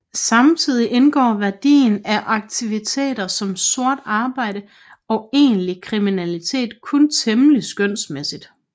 Samtidig indgår værdien af aktiviteter som sort arbejde og egentlig kriminalitet kun temmelig skønsmæssigt